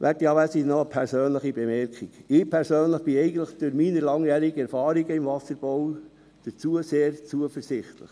Werte Anwesende, noch eine persönliche Bemerkung: Ich persönlich bin eigentlich durch meine langjährigen Erfahrungen im Wasserbau diesbezüglich sehr zuversichtlich.